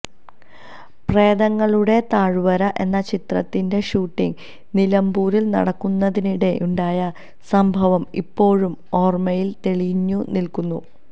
പ്രേതങ്ങളുടെ താഴ്വര എന്ന ചിത്രത്തിന്റെ ഷൂട്ടിംഗ് നിലമ്പൂരില് നടക്കുന്നതിനിടെ ഉണ്ടായ സംഭവം ഇപ്പോഴും ഓര്മയില് തെളിഞ്ഞു നില്ക്കുന്നു